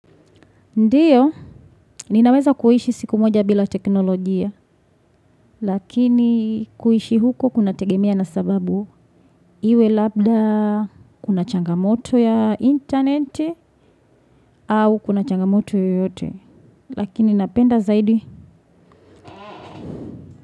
Ndiyo, ninaweza kuishi siku moja bila teknolojia, lakini kuishi huko kunategemea na sababu iwe labda, kuna changamoto ya internet, au kuna changamoto yoyote, lakini napenda zaidi.